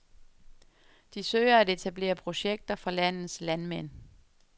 De søger at etablere projekter for landets landmænd.